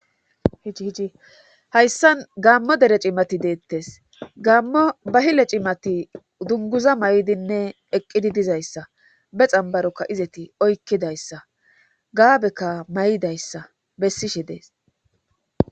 hii hiji hayssan gammo dere cimati deettes gammo bahile cimati dunguza may7dinne eqqidi dizayssa be xambarokka izeti oykkidayssa gaabekka may7idayssa bessishe dees